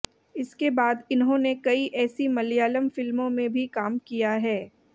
इसके बाद इन्होंने कई ऐसी मलयालम फिल्मों में भी काम किया